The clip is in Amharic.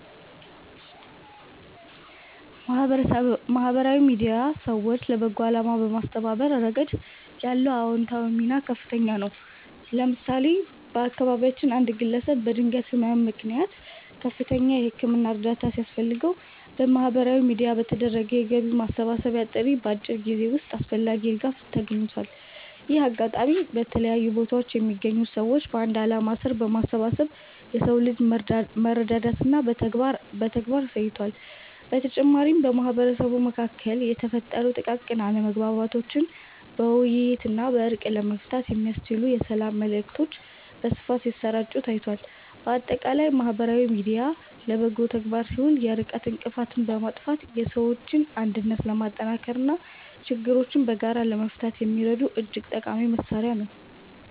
ማህበራዊ ሚዲያ ሰዎችን ለበጎ አላማ በማስተባበር ረገድ ያለው አዎንታዊ ሚና ከፍተኛ ነው። ለምሳሌ፣ በአካባቢያችን አንድ ግለሰብ በድንገተኛ ህመም ምክንያት ከፍተኛ የህክምና እርዳታ ሲያስፈልገው፣ በማህበራዊ ሚዲያ በተደረገ የገቢ ማሰባሰቢያ ጥሪ በአጭር ጊዜ ውስጥ አስፈላጊው ድጋፍ ተገኝቷል። ይህ አጋጣሚ በተለያዩ ቦታዎች የሚገኙ ሰዎችን በአንድ ዓላማ ስር በማሰባሰብ የሰው ልጅ መረዳዳትን በተግባር አሳይቷል። በተጨማሪም፣ በማህበረሰቡ መካከል የተፈጠሩ ጥቃቅን አለመግባባቶችን በውይይትና በእርቅ ለመፍታት የሚያስችሉ የሰላም መልዕክቶች በስፋት ሲሰራጩ ታይቷል። ባጠቃላይ ማህበራዊ ሚዲያ ለበጎ ተግባር ሲውል የርቀት እንቅፋትን በማጥፋት የሰዎችን አንድነት ለማጠናከርና ችግሮችን በጋራ ለመፍታት የሚረዳ እጅግ ጠቃሚ መሣሪያ ነው።